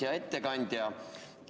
Hea ettekandja!